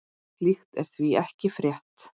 Slíkt er því ekki frétt.